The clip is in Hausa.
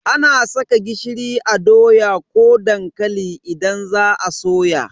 Ana saka gishiri a doya ko dankali idan za a soya.